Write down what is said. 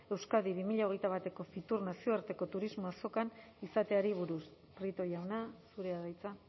euskadi bi mila hogeita bateko fitur nazioarteko turismo azokan izateari buruz prieto jauna zurea da hitza